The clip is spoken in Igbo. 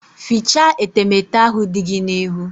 Fichaa etemete ahụ dị gị n'ihu!